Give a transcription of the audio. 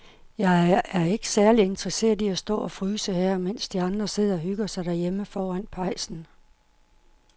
Jeg er ikke særlig interesseret i at stå og fryse her, mens de andre sidder og hygger sig derhjemme foran pejsen.